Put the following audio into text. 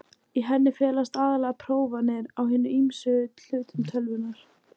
Í henni felast aðallega prófanir á hinum ýmsu hlutum tölvunnar.